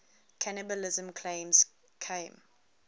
cannibalism claims came